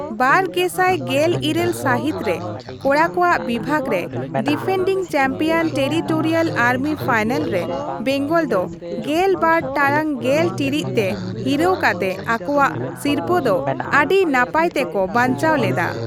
ᱵᱟᱨ ᱜᱮᱥᱟᱭ ᱜᱮᱞ ᱤᱨᱟᱹᱞ ᱥᱟᱹᱦᱤᱛ ᱨᱮ, ᱠᱚᱲᱟ ᱠᱚᱣᱟᱜ ᱵᱤᱵᱷᱟᱜᱽ ᱨᱮ, defending champion territorial army final ᱨᱮ ᱵᱮᱝᱜᱚᱞ ᱫᱚ ᱜᱮᱞᱵᱟᱨ ᱴᱟᱲᱟᱝ ᱜᱮᱞ ᱴᱤᱲᱤᱡ ᱛᱮ ᱦᱤᱨᱟᱹᱣ ᱠᱟᱛᱮ ᱟᱠᱚᱣᱟᱜ ᱥᱤᱨᱯᱟᱹ ᱫᱚ ᱟᱹᱰᱤ ᱱᱟᱯᱟᱭ ᱛᱮᱠᱚ ᱵᱟᱧᱪᱟᱣ ᱞᱮᱫᱟ ᱾